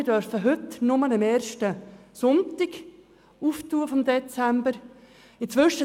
Wir dürfen heute nur am ersten Sonntag im Dezember aufmachen.